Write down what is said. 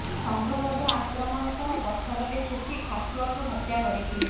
ସଂଘବଦ୍ଧ ଆକ୍ରମଣ ସହ ପଥରରେ ଛେଚି ଖାସୁଆକୁ ହତ୍ୟା କରିଥିଲେ